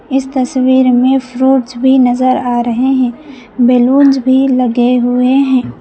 इस तस्वीर में फ्रूट्स भी नजर आ रहे हैं बलूंस भी लगे हुए हैं।